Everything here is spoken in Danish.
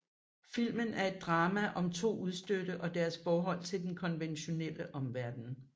Filmen er et drama om to udstødte og deres forhold til den konventionelle omverden